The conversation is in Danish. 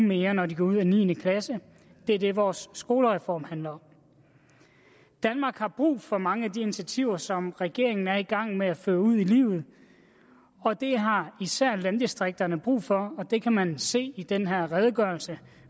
mere når de går ud af niende klasse det er det vores skolereform handler om danmark har brug for mange af de initiativer som regeringen er i gang med at føre ud i livet og det har især landdistrikterne brug for og man kan se i den her redegørelse